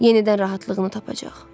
Yenidən rahatlığını tapacaq.